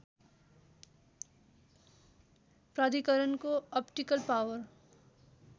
प्राधिकरणको optical power